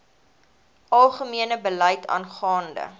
algemene beleid aangaande